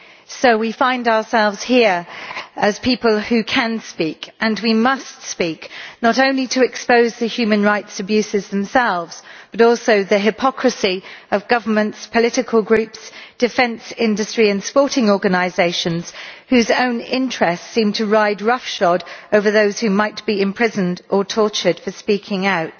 So we find ourselves here as people who can speak and we must speak not only to expose the human rights abuses themselves, but also to expose the hypocrisy of governments, political groups, the defence industry and sporting organisations whose own interests seem to ride roughshod over those who might be imprisoned or tortured for speaking out.